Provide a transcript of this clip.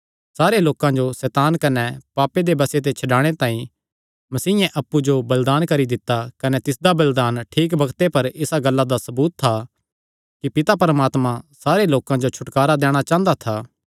सारे लोकां जो सैतान कने पापे दे बसे ते छड्डाणे तांई मसीयें अप्पु जो बलिदान करी दित्ता कने तिसदा बलिदान ठीक बग्ते पर इसा गल्ला दा सबूत था कि परमात्मा सारे लोकां जो छुटकारा दैणा चांह़दा था